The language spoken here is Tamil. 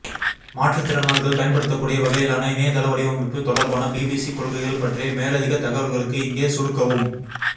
மாற்றுத்திறனாளிகள் பயன்படுத்தக்கூடிய வகையிலான இணையதள வடிவமைப்பு தொடர்பான பிபிசி கொள்கைகள் பற்றிய மேலதிகத் தகவல்களுக்கு இங்கே சொடுக்கவும்